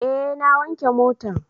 Eh na wanke motan